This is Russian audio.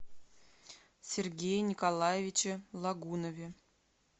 сергее николаевиче лагунове